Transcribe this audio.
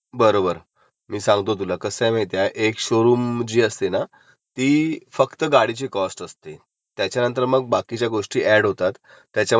Tax, तिसरा असतो त्याच्यामध्ये एक्सेटेडेड वॉरंटी थर्ड असतं त्याच्यामध्ये म्हणजे हे सगळे पॅरामीटर्स असतात हा. not clear ह्याच्यातले